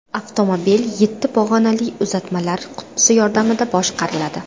Avtomobil yetti pog‘onali uzatmalar qutisi yordamida boshqariladi.